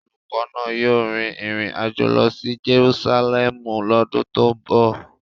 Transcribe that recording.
Olùkọ́ náà yóò rin ìrìn àjò lọ sí Jerusalẹmu lọ́dún tó ń bọ̀.